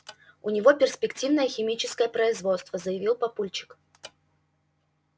у него перспективное химическое производство заявил папульчик